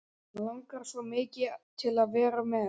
Hann langar svo mikið til að vera með.